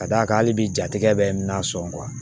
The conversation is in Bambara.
Ka d'a kan hali bi jatigɛ bɛ n na sɔn